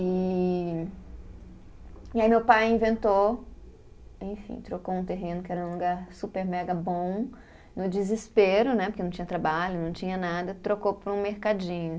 E. E aí meu pai inventou, enfim, trocou um terreno que era um lugar super mega bom, no desespero, né, porque não tinha trabalho, não tinha nada, trocou por um mercadinho.